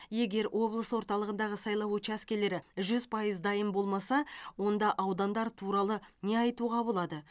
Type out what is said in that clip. егер облыс орталығындағы сайлау учаскелері жүз пайыз дайын болмаса онда аудандар туралы не айтуға болады